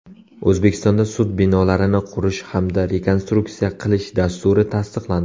O‘zbekistonda sud binolarini qurish hamda rekonstruksiya qilish dasturi tasdiqlandi.